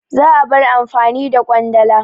Za'a bar amfani da Ƙwandala.